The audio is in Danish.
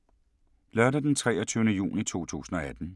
Lørdag d. 23. juni 2018